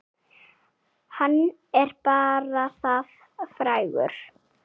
Hann er bara það frægur.